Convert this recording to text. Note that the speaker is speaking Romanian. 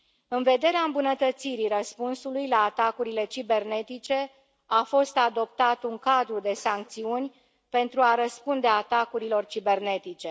În vederea îmbunătățirii răspunsului la atacurile cibernetice, a fost adoptat un cadru de sancțiuni pentru a răspunde atacurilor cibernetice.